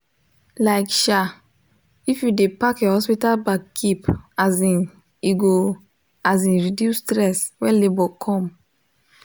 like um if u de pack your hospital bag keep um e go um reduce stress when labor come